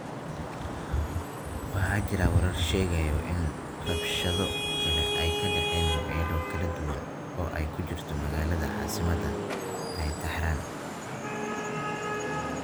Waxaa jira warar sheegaya in rabshado kale ay ka dhaceen meelo kala duwan oo ay ku jirto magaalada caasimadda ah ee Tehran.